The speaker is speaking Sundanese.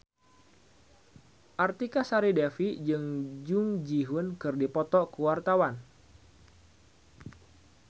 Artika Sari Devi jeung Jung Ji Hoon keur dipoto ku wartawan